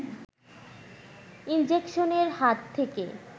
ইনজেকশনের হাত থেকে